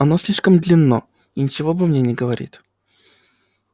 оно слишком длинно и ничего обо мне не говорит